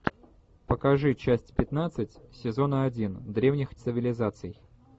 покажи часть пятнадцать сезона один древних цивилизаций